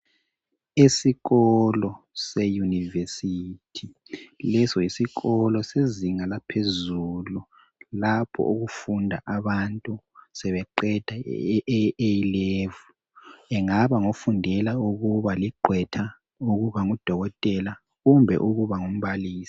Isikolo se university, leso yisikolo sezinga laphezulu lapho okufunda abantu sebeqeda i A'level, engaba ngofundela ukuba liqhwetha, ukuba ngudokotela kumbe ukuba ngumbalisi.